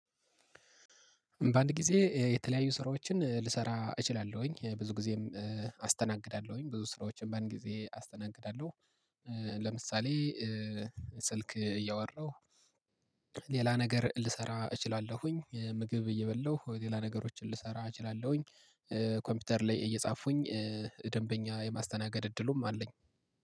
በአንድ ጊዜ የተለያዩ ስራዎችን ልሰራ እችላለሁኝ ብዙ ጊዜም አስተናግዳለሁኝ ብዙ ስራዎችን በአንድ ጊዜ አስተናግዳለሁ። ለምሳሌ ስልክ እያወራሁ ሌላ ነገር ልሰራ እችላለሁኝ ምግብ እየበላሁ ሌላ ነገሮችን ልሰራ እችላለሁኝ። ኮምፒውተር ላይ እየጻፉኩኝ ደንበኛ የማስተናገድ እድሉም አለኝ።